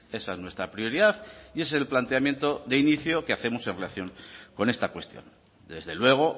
esa es nuestra prioridad y es el planteamiento de inicio que hacemos en relación con esta cuestión desde luego